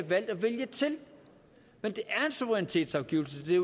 valgt at vælge til men det er en suverænitetsafgivelse det